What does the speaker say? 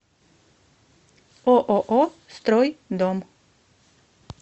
ооо стройдом